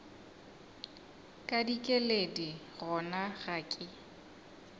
ka dikeledi gona ga ke